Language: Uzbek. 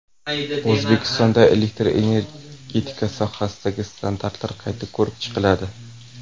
O‘zbekistonda elektr energetika sohasidagi standartlar qayta ko‘rib chiqiladi.